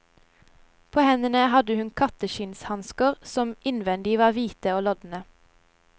På hendene hadde hun katteskinnshansker som innvendig var hvite og lodne.